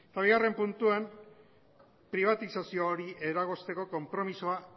eta bigarren puntuan pribatizazio hori eragozteko konpromisoa